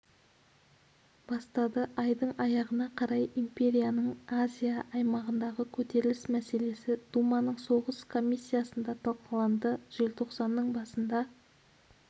бастады айдың аяғына қарай империяның азия аймағындағы көтеріліс мәселесі думаның соғыс комиссиясында талқыланды желтоқсанның басында